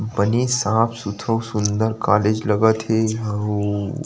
बने साफ़-सुधरा सुन्दर कॉलेज लगत हे एहा अउ--